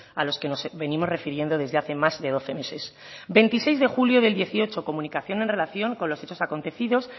a los que nos venimos refiriendo desde hace más de doce meses veintiseis de julio de dos mil dieciocho comunicación en relación con los hechos acontecido